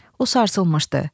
O sarsılmışdı.